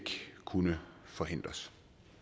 kunne forhindres